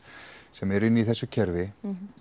sem eru inn í þessu kerfi